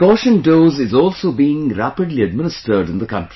Precaution dose is also being rapidly administered in the country